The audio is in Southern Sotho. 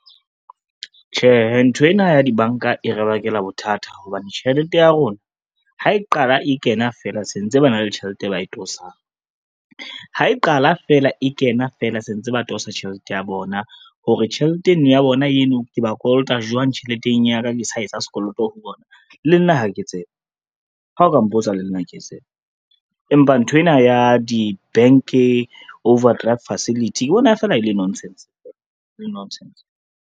Tjhehe, nthwena ya dibanka e re bakela bothata hobane tjhelete ya rona ha e qala e kena fela se ntse ba na le tjhelete e ba e tosang. Ha e qala fela e kena fela se ntse ba tosa tjhelete ya bona hore, tjhelete eno ya bona eno ke ba kolota jwang tjheleteng ya ka, ke sa etsa sekoloto ho bona le nna ha ke tsebe, ha o ka mpotsa le nna ha ke tsebe. Empa nthwena ya di-bank overdraft facility ke bona fela e le nonsense, e le nonsense.